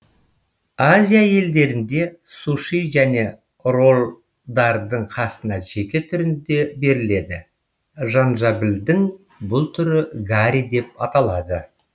азия елдерінде суши және роллдардың қасына жеке түрінде беріледі жанжабілдің бұл түрі гари деп аталады